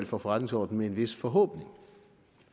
for forretningsordenen med en vis forhåbning